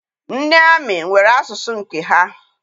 Ndị amị nwere asụsụ nke ha.